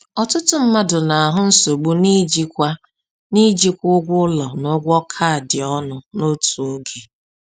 Ọtụtụ mmadụ na-ahụ nsogbu n’ijikwa n’ijikwa ụgwọ ụlọ na ụgwọ kaadị ọnụ n’otu oge.